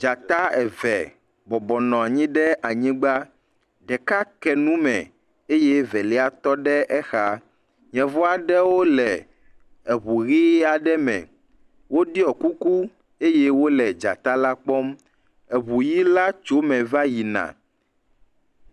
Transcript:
Dzata eve bɔbɔnɔ anyi ɖe anyigba, ɖeka ke nume eye velia tɔ ɖe exa. Yevu aɖewo le eŋu ʋi aɖe me, ɖeka ɖɔ kuku eye wole dzata la kpɔm, eŋu ʋi la tso eme va yina.